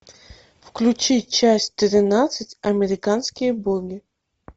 включи часть тринадцать американские боги